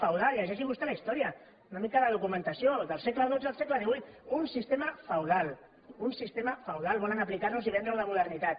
llegeixi vostè la història una mica de documentació del segle xii al segle xviii un sistema feudal un sistema feudal volen aplicar nos i vendre ho de modernitat